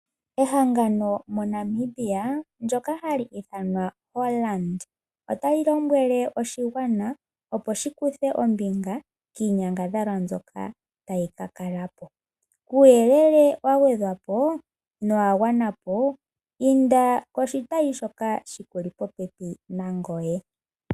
Ehangano moNamibia ndyoka ha li ithwana Hollard ota li lombwele oshigwana opo shi kuthe ombinga kiinyangadhalwa mbyoka ta yi ka kalako. Kuuyelele wa gwedha po nowagwana po, inda koshitayi shoka shi kuli popepi nangoye.